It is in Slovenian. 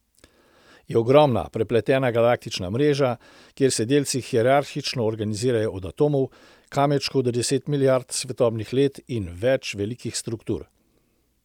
Je ogromna, prepletena galaktična mreža, kjer se delci hierarhično organizirajo od atomov, kamenčkov do deset milijard svetlobnih let in več velikih struktur.